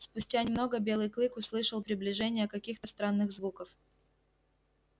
спустя немного белый клык услышал приближение каких-то странных звуков